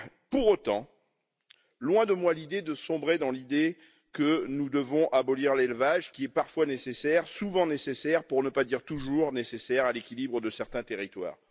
Pour autant, loin de moi l'idée de sombrer dans l'idée que nous devons abolir l'élevage, qui est parfois nécessaire, souvent nécessaire, pour ne pas dire toujours nécessaire à l'équilibre de certains territoires.